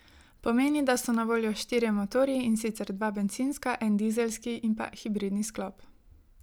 Pomeni, da so na voljo štirje motorji, in sicer dva bencinska, en dizelski in pa hibridni sklop.